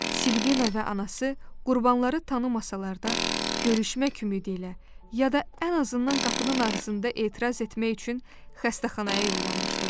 Silvina və anası qurbanları tanımasalar da, görüşmək ümidi ilə ya da ən azından qapının ağzında etiraz etmək üçün xəstəxanaya yollanmışdılar.